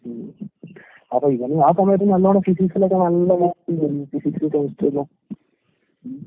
ഉം. അപ്പ ഇവന് ആ സമയത്ത് നല്ലോണം ഫിസിക്സിലൊക്കെ നല്ല മാർക്കിണ്ടേരുന്നു ഫിസിക്സ്, കെമിസ്ട്രീല്ലാം ഉം.